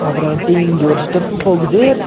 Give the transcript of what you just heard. அப்றாவன்ட்டி இங்க ஒரு ஸ்டெப்பு போகுது.